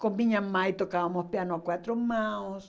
Com minha mãe tocávamos piano a quatro mãos.